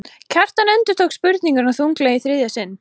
Kjartan endurtók spurninguna þunglega í þriðja sinn.